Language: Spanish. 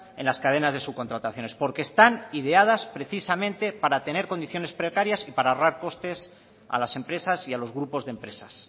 en las cadenas de subcontrataciones porque están ideadas precisamente para tener condiciones precarias y para ahorrar costes a las empresas y a los grupos de empresas